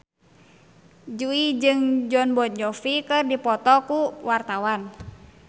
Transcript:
Jui jeung Jon Bon Jovi keur dipoto ku wartawan